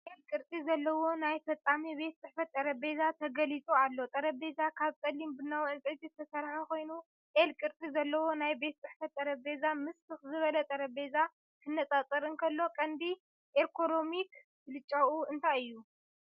"L" ቅርጺ ዘለዎ ናይ ፈጻሚ ቤት ጽሕፈት ጠረጴዛ ተገሊጹ ኣሎ። ጠረጴዛ ካብ ጸሊም ቡናዊ ዕንጨይቲ ዝተሰርሐ ኮይኑ፡ "L" ቅርጺ ዘለዎ ናይ ቤት ጽሕፈት ጠረጴዛ ምስ ትኽ ዝበለ ጠረጴዛ ክነጻጸር እንከሎ፡ ቀንዲ ኤርጎኖሚክ ብልጫኡ እንታይ እዩ?